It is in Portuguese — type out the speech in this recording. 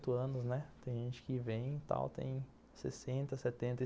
dezoito anos, né. Tem gente que vem e tal, tem sessenta, setenta